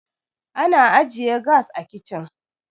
ana ajiye gas a kicin